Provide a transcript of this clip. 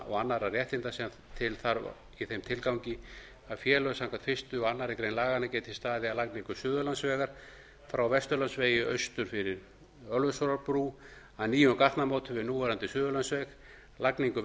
og annarra réttinda sem til þarf í þeim tilgangi að félög samkvæmt fyrstu og aðra grein laganna geti staðið að lagningu suðurlandsvegar frá vesturlandsvegi austur fyrir ölfusárbrú að nýjum gatnamótum við núverandi suðurlandsveg lagningu